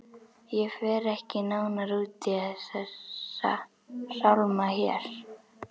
Ég fer ekki nánar út í þessa sálma hér.